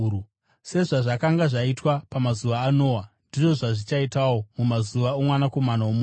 “Sezvazvakanga zvakaita pamazuva aNoa, ndizvo zvazvichaitawo mumazuva oMwanakomana woMunhu.